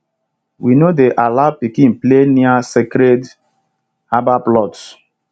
we no dey allow pikin play near sacred herbal plots